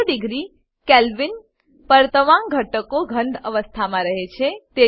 zero degree Kelvin પર તમામ ઘટકો ઘન અવસ્થામાં રહે છે